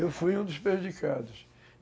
Eu fui um dos prejudicados.